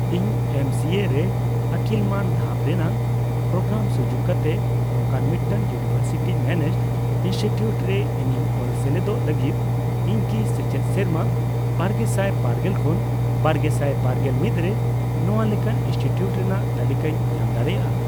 ᱤᱧ ᱮᱢᱥᱤᱮ ᱨᱮ ᱟᱹᱠᱤᱞ ᱢᱟᱱ ᱫᱷᱟᱯ ᱨᱮᱱᱟᱜ ᱯᱨᱳᱜᱨᱟᱢᱥᱩᱡᱩᱠ ᱠᱟᱛᱮ ᱱᱚᱝᱠᱟᱱ ᱢᱤᱫᱴᱟᱝ ᱤᱭᱩᱱᱤᱵᱷᱟᱨᱥᱤᱴᱤ ᱢᱮᱱᱮᱡᱰ ᱤᱱᱥᱴᱤᱴᱤᱭᱩᱴ ᱨᱮ ᱤᱧᱤᱧ ᱚᱞ ᱥᱮᱞᱮᱫᱚᱜ ᱞᱟᱹᱜᱤᱫ, ᱤᱧ ᱠᱤ ᱥᱮᱪᱮᱫ ᱥᱮᱨᱢᱟ ᱵᱟᱨᱜᱮᱥᱟᱭ ᱵᱟᱨᱜᱮᱞ ᱠᱷᱚᱱ ᱵᱟᱨᱜᱮᱥᱟᱭ ᱵᱟᱨᱜᱮᱞ ᱢᱤᱫ ᱨᱮ ᱱᱚᱣᱟ ᱞᱮᱠᱟᱱ ᱤᱱᱥᱴᱤᱴᱤᱭᱩᱴ ᱨᱮᱱᱟᱜ ᱛᱟᱞᱤᱠᱟᱧ ᱧᱟᱢ ᱫᱟᱲᱮᱭᱟᱜᱼᱟ ?